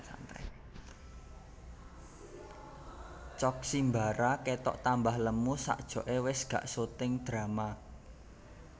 Cok Simbara ketok tambah lemu sakjoke wes gak syuting drama